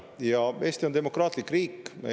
Ja Eesti on demokraatlik riik.